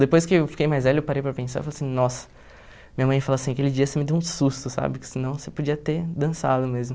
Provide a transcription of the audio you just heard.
Depois que eu fiquei mais velho, eu parei para pensar, eu falei assim, nossa, minha mãe falou assim, aquele dia você me deu um susto, sabe, que senão você podia ter dançado mesmo.